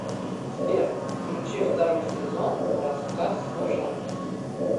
сбер включи второй сезон рассказ служанки